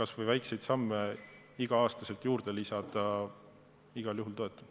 kas või väikseid samme iga aasta juurde lisades, seda ma igal juhul toetan.